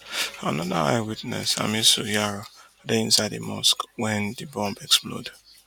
anoda eyewitness hamisu yaro dey inside di mosque wen di bomb explode